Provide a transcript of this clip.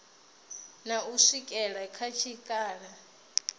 na u swikela kha tshikhala